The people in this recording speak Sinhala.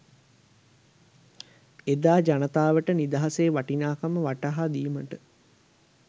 එදා ජනතාවට නිදහසේ වටිනාකම වටහාදීමට